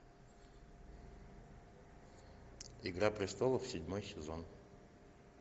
игра престолов седьмой сезон